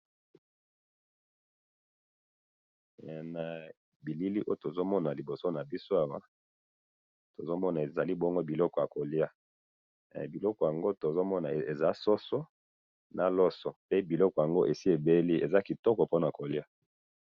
Na moni liboso na nga soso na loso, eza kitoko po na kolia.